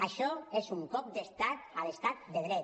això és un cop d’estat a l’estat de dret